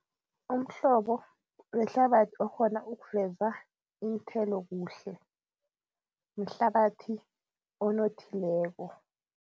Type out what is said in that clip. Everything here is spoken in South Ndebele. Umhlobo wehlabathi okghona ukuveza iinthelo kuhle, yihlabathi enothileko.